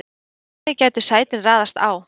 Þannig gætu sætin raðast á